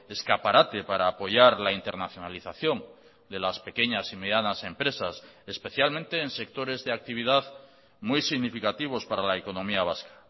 escaparate para apoyar la internacionalización de las pequeñas y medianas empresas especialmente en sectores de actividad muy significativos para la economía vasca